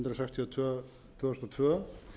tvö tvö þúsund og tvö